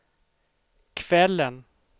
kvällen